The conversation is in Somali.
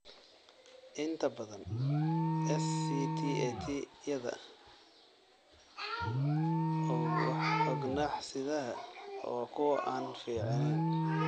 Inta badan SCTAT-yada ugxan-sidaha waa kuwo aan fiicneyn.